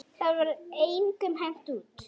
Það var engum hent út.